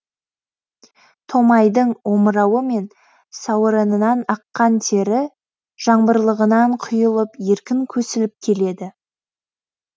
томайдың омырауы мен сауырынан аққан тері жаңбырлығынан құйылып еркін көсіліп келеді